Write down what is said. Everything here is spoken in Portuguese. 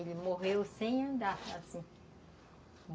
Ele morreu sem andar, assim.